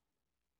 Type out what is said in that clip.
DR2